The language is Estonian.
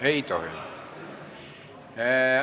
Aitäh!